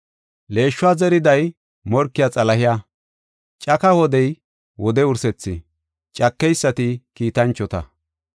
Leeshuwa zeriday morkiya Xalahe. Caka wodey, wode wursethi; cakeysati kiitanchota.